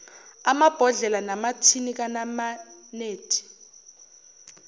amabhodlela namathini kanamanedi